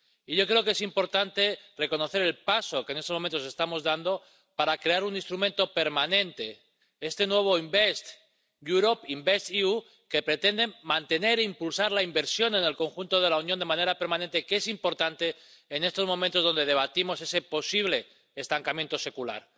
Y yo creo que es importante reconocer el paso que en estos momentos estamos dando para crear un instrumento permanente —este nuevo Invest Europe InvestEU— que pretende mantener e impulsar la inversión en el conjunto de la Unión de manera permanente, que es importante en estos momentos donde debatimos ese posible estancamiento secular.